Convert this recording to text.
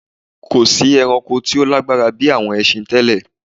Kò sí ẹranko tí ó lágbára bí àwọn ẹsin tẹ́lẹ.